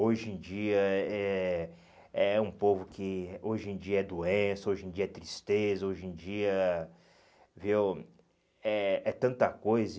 Hoje em dia é é é um povo que hoje em dia é doença, hoje em dia é tristeza, hoje em dia viu é é tanta coisa.